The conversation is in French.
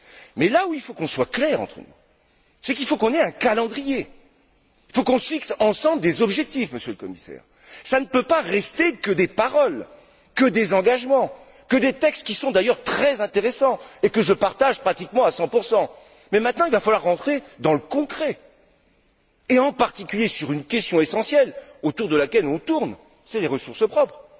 Mais là où il faut qu'on soit clairs entre nous, c'est qu'il faut qu'on ait un calendrier, il faut qu'on fixe ensemble des objectifs, Monsieur le Commissaire, ça ne peut pas rester que des paroles, que des engagements, que des textes qui sont d'ailleurs très intéressants et que je partage pratiquement à 100 Mais, maintenant, il va falloir entrer dans le concret et, en particulier, en venir à une question essentielle autour de laquelle on tourne, celle des ressources propres.